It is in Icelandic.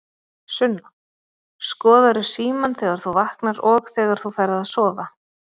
Sunna: Skoðarðu símann þegar þú vaknar og þegar þú ferð að sofa?